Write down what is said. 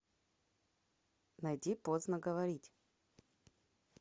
найди поздно говорить